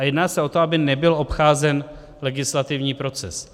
A jedná se o to, aby nebyl obcházen legislativní proces.